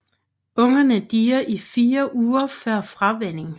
Ungerne dier i fire uger før fravænning